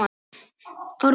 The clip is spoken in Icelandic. Árum saman?